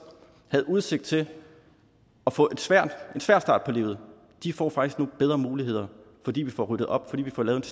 havde udsigt til at få en svær start på livet de får faktisk nu bedre muligheder fordi vi får ryddet op og fordi vi får lavet